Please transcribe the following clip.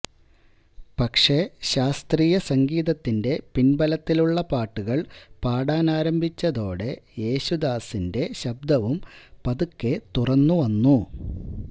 പക്ഷേ ശാസ്ത്രീയ സംഗീതത്തിന്റെ പിന്ബലത്തിലുള്ള പാട്ടുകള് പാടാനാരംഭിച്ചതോടെ യേശുദാസിന്റെ ശബ്ദവും പതുക്കെ തുറന്നുവന്നു